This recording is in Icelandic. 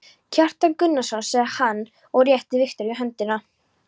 Kjartan Gunnarsson, sagði hann og rétti Viktoríu höndina.